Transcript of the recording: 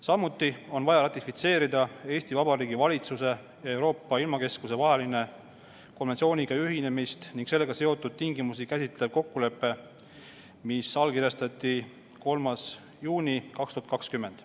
Samuti on vaja ratifitseerida Eesti Vabariigi valitsuse ja Euroopa ilmakeskuse vaheline konventsiooniga ühinemist ning sellega seotud tingimusi käsitlev kokkulepe, mis allkirjastati 3. juunil 2020.